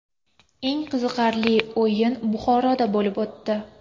Eng qiziqarli o‘yin Buxoroda bo‘lib o‘tdi.